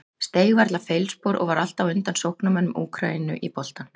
Steig varla feilspor og var alltaf á undan sóknarmönnum Úkraínu í boltann.